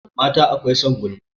Mata akwai son gulma